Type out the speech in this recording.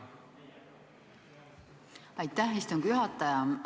Aitäh, istungi juhataja!